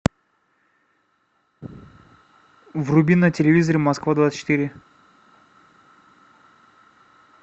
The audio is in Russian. вруби на телевизоре москва двадцать четыре